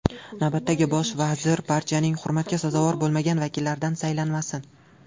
Navbatdagi bosh vazir partiyaning hurmatga sazovor bo‘lmagan vakillaridan saylanmasin.